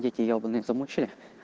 дети ебанные замучали